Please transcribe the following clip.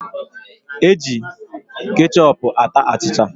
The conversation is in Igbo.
E ji kechọpu ata achịcha